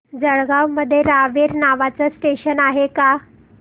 जळगाव मध्ये रावेर नावाचं स्टेशन आहे का